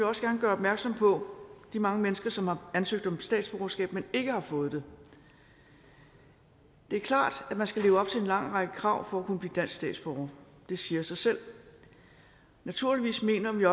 også gerne gøre opmærksom på de mange mennesker som har ansøgt om statsborgerskab men ikke har fået det det er klart at man skal leve op til en lang række krav for at kunne blive dansk statsborger det siger sig selv og naturligvis mener vi